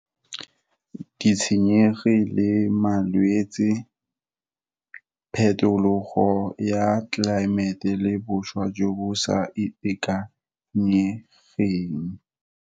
Ditshenyegile, malwetse, phetologo ya tlelaemete, le boswa jo bo sa itekanyegeng.